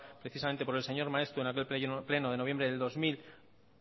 precisamente por el señor maeztu en aquel pleno de noviembre del dos mil